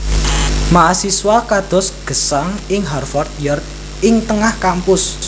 Mahasiswa kados gesang ing Harvard Yard ing tengah kampus